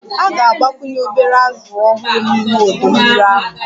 A ga-agbakwunye obere azụ ọhụrụ n'ime ọdọ mmiri ahụ